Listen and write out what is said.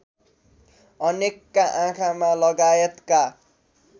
अनेकका आँखामा लगायतका